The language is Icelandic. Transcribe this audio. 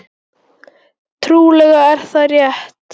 Trúlega er það rétt.